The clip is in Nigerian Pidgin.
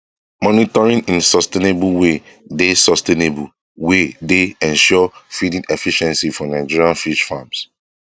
monitoring in sustainable way dey sustainable way dey ensure feeding efficiency for nigerian fish farms